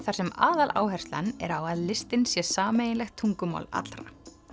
þar sem aðaláherslan er á að listin sé sameiginlegt tungumál allra